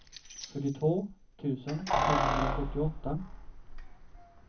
fyrtiotvå tusen femhundrasjuttioåtta